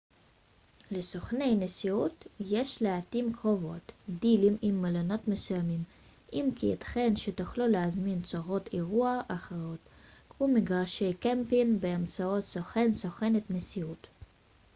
לסוכני נסיעות יש לעתים קרובות דילים עם מלונות מסוימים אם כי ייתכן שתוכלו להזמין צורות אירוח אחרות כמו מגרשי קמפינג באמצעות סוכן/ת נסיעות